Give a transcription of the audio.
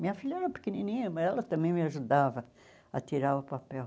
Minha filha era pequenininha, mas ela também me ajudava a tirar o papel.